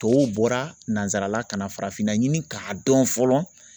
Tɔw bɔra nansarala ka na farafinna ɲini k'a dɔn fɔlɔ